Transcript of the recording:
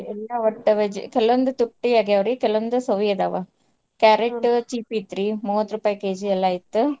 ಎಲ್ಲ ಕೆಲವೊಂದು ತುಟ್ಟಿ ಆಗ್ಯಾವ್ರಿ ಕೆಲವೊಂದ್ ಸವಿ ಅದಾವ. cheap ಇತ್ರಿ ಮೂವತ್ತ್ ರೂಪಾಯಿ KG ಎಲ್ಲಾ ಇತ್ತ್.